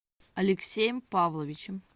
алексеем павловичем